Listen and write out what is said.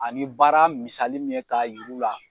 Ani baara misali min ye k'a yir'u la